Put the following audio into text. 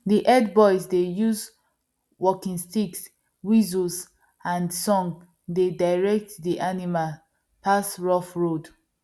the herd boys dey use walking sticks whistles and song dey direct the animal pass rough road